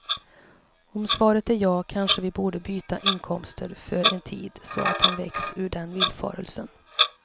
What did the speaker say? Om svaret är ja kanske vi borde byta inkomster för en tid så att han väcks ur den villfarelsen.